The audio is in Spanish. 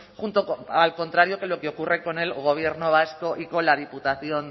al contrario que lo que ocurre con el gobierno vasco y con la diputación